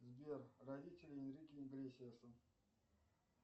сбер родители энрике иглесиаса